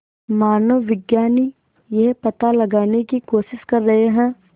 मानवविज्ञानी यह पता लगाने की कोशिश कर रहे हैं